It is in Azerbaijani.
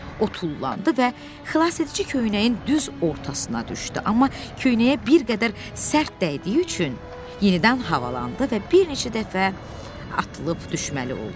O tullandı və xilasedici köynəyin düz ortasına düşdü, amma köynəyə bir qədər sərt dəydiyi üçün yenidən havalandı və bir neçə dəfə atılıb düşməli oldu.